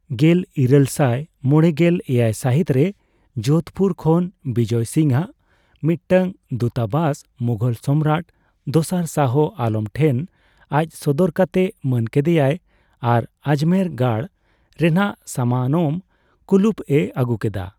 ᱜᱮᱞ ᱤᱨᱟ, ᱞ ᱥᱟᱭ ᱢᱚᱲᱮᱜᱮᱞ ᱮᱭᱟᱭ ᱥᱟᱦᱤᱛ ᱨᱮ ᱡᱳᱫᱷᱯᱩᱨ ᱠᱷᱚᱱ ᱵᱤᱡᱚᱭ ᱥᱤᱝᱼᱟᱜ ᱢᱤᱫᱴᱟᱝ ᱫᱩᱛᱟᱵᱟᱥ ᱢᱩᱜᱷᱚᱞ ᱥᱚᱢᱨᱟᱴ ᱫᱚᱥᱟᱨ ᱥᱟᱦᱚ ᱟᱞᱚᱢ ᱴᱷᱮᱱ ᱟᱡ ᱥᱚᱫᱚᱨ ᱠᱟᱛᱮ ᱢᱟᱹᱱ ᱠᱮᱫᱮᱭᱟᱭ ᱟᱨ ᱟᱡᱢᱮᱨ ᱜᱟᱲ ᱨᱮᱱᱟᱜ ᱥᱟᱢᱟᱱᱚᱢ ᱠᱩᱞᱩᱯ ᱮ ᱟᱹᱜᱩ ᱠᱮᱫᱟ ᱾